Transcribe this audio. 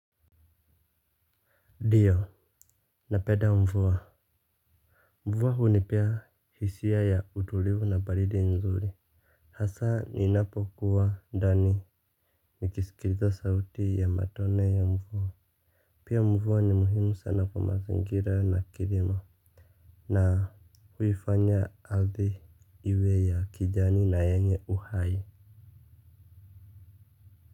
Ndiyo, napenda mvua. Mvua hunipea hisia ya utulivu na baridi nzuri. Hasa ninapokuwa ndani. Nikisikiliza sauti ya matone ya mvua. Pia mvua ni muhimu sana kwa mazingira na kilimo. Na huifanya ardhi iwe ya kijani na yenye uhai.